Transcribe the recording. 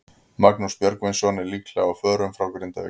Magnús Björgvinsson er líklega á förum frá Grindavík.